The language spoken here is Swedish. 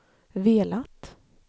velat